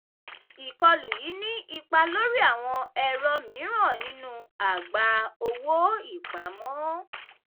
ìkọlù yìí ní ipá lórí àwọn ẹ̀rọ mìíràn nínú àgbá owó-ìpamọ́.